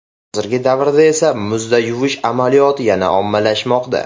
Hozirgi davrda esa muzda yuvish amaliyoti yana ommalashmoqda.